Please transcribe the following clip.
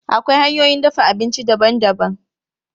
Akwai hanyoyin dafa abinci daban-daban.